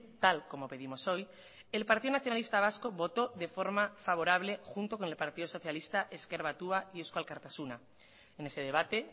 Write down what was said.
tal como pedimos hoy el partido nacionalista vasco votó de forma favorable junto con el partido socialista ezker batua y eusko alkartasuna en ese debate